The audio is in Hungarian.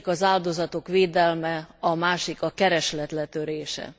Az egyik az áldozatok védelme, a másik a kereslet letörése.